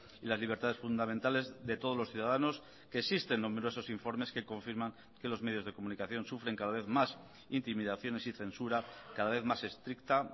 y las libertades fundamentales de todos los ciudadanos que existen numerosos informes que confirman que los medios de comunicación sufren cada vez más intimidaciones y censura cada vez más estricta